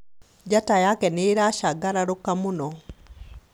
njata yake nĩ ĩlasangalaluka mũno